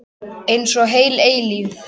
Einsog heil eilífð.